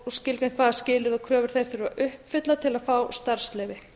og skilgreint hvaða skilyrði og kröfur þeir þurfi að uppfylla til að fá starfsleyfi